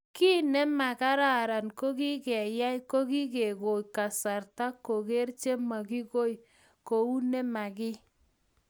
kiy ne makararan ne kiyay ko kingegoi kasarta koger che makigoi kou ne makiy